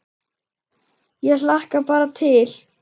Ég hlakka bara til!